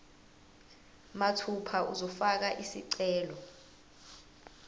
mathupha uzofaka isicelo